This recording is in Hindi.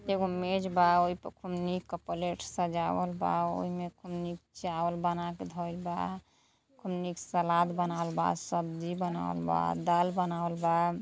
एगो मेज बा| ओइ पर कुल निक क प्लेट सजावल बा|ओइ में कुल निक चावल धइल बा| खूब निक से सलाद बनावल बा| सब्जी बनावल बा|